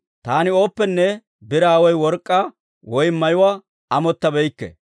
«Taani ooppenne biraa woy work'k'aa woy mayuwaa amottabeykke;